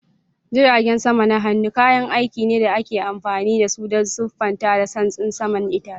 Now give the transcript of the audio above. Jiragen sama na hannu kayan aiki ne da ake amfani da su don siffa da santsin saman itace.